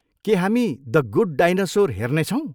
के हामी the good dinosaur हेर्नेछौँ?